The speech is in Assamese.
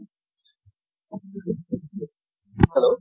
hello